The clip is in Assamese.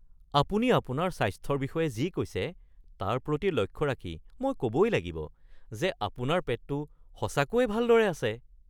আপুনি আপোনাৰ স্বাস্থ্যৰ বিষয়ে যি কৈছে তাৰ প্ৰতি লক্ষ্য ৰাখি মই ক'বই লাগিব যে আপোনাৰ পেটটো সঁচাকৈয়ে ভালদৰে আছে।